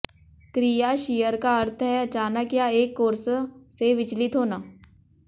क्रिया शीयर का अर्थ है अचानक या एक कोर्स से विचलित होना